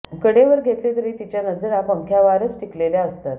कडे वर घेतले तरी तिच्या नजरा पंख्यावारच टिकलेल्या असतात